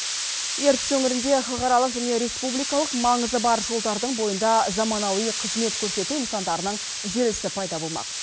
ертіс өңірінде халықаралық және республикалық маңызы бар жолдардың бойында заманауи қызмет көрсету нысандарының желісі пайда болмақ